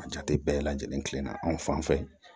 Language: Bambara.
A jate bɛɛ lajɛlen kilenna anw fan fɛ